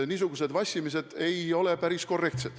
Niisugune vassimine ei ole päris korrektne.